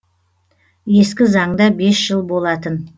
ескі заңда бес жыл болатын